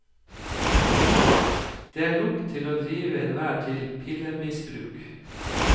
Det er nok til å drive enhver til pillemisbruk.